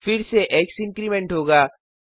फिर से X increment होगा